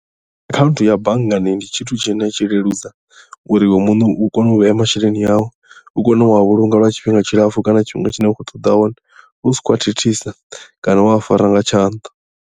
Akhaunthu ya banngani ndi tshithu tshine tshi leludza uri iwe muṋe u kone u vhea masheleni au u kone u a vhulunga lwa tshifhinga tshilapfhu kana tshifhinga tshine wa khou ṱoḓa tshone u si khou a thithisa kana wa a fara nga tshanḓa.